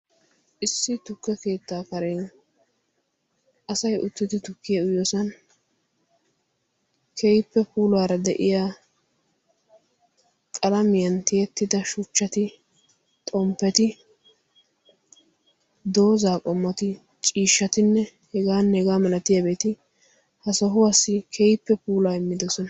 issi tukke keettaa karen asay uttidi tukkiya uyiyoosan keehippe puulara de'iya qalamiytan tiyettida shuchchati, xompeti, dozaa qommtinne hegaanne hegaa milatiyabati ha sohuwassi keehippe puulaa immosona.